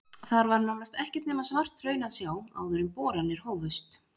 Þar var nánast ekkert nema svart hraun að sjá áður en boranir hófust.